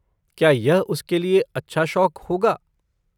क्या यह उसके लिए अच्छा शौक होगा?